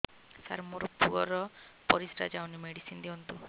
ସାର ମୋର ପୁଅର ପରିସ୍ରା ଯାଉନି ମେଡିସିନ ଦିଅନ୍ତୁ